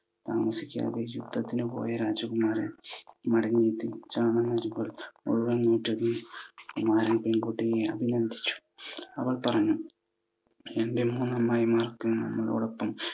താമസിയാതെ യുദ്ധത്തിന് പോയ രാജകുമാരൻ മടങ്ങിയെത്തി. ചണം മുഴുവൻ കുമാരൻ പെൺകുട്ടിയെ അഭിനന്ദിച്ചു. അവൾ പറഞ്ഞു, എൻ്റെ മൂന്നു അമ്മായിമാർക്ക് നമ്മളോടൊപ്പം